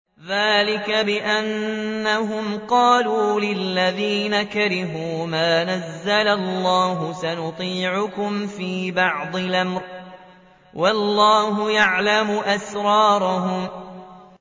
ذَٰلِكَ بِأَنَّهُمْ قَالُوا لِلَّذِينَ كَرِهُوا مَا نَزَّلَ اللَّهُ سَنُطِيعُكُمْ فِي بَعْضِ الْأَمْرِ ۖ وَاللَّهُ يَعْلَمُ إِسْرَارَهُمْ